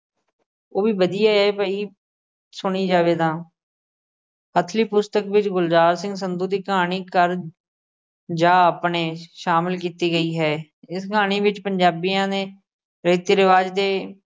ਉਹ ਵੀ ਵਧੀਆ ਏ ਭਈ ਸੁਣੀ ਜਾਵੇ ਤਾਂ ਹਥਲੀ ਪੁਸਤਕ ਵਿੱਚ ਗੁਲਜ਼ਾਰ ਸਿੰਘ ਸੰਧੂ ਦੀ ਕਹਾਣੀ ਘਰ ਜਾ ਆਪਣੇ ਸ਼ਾਮਿਲ ਕੀਤੀ ਗਈ ਹੈ। ਇਸ ਕਹਾਣੀ ਵਿੱਚ ਪੰਜਾਬੀਆਂ ਨੇ ਰੀਤੀ-ਰੀਵਾਜ਼ ਦੇ